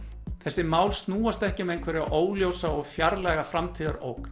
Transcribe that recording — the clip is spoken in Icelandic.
þessi mál snúast ekki um einhverja óljósa og fjarlæga